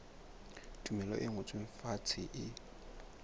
tumello e ngotsweng fatshe e